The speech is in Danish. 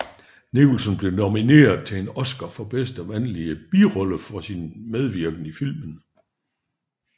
Nicholson blev nomineret til en Oscar for bedste mandlige birollefor sin medvirken i filmen